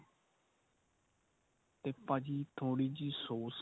ਤੇ ਭਾਜੀ ਥੋੜੀ ਜੀ ਸੋਸ